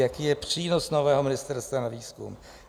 Jaký je přínos nového ministerstva na výzkum?